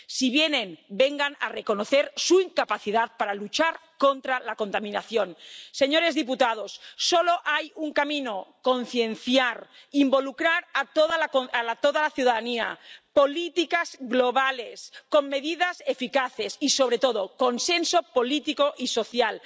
Si vienen, vengan a reconocer su incapacidad para luchar contra la contaminación. Señores diputados, solo hay un camino concienciar, involucrar a toda la ciudadanía, políticas globales con medidas eficaces y, sobre todo, consenso político y social.